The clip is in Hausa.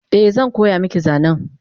Eh zan koya maki zanen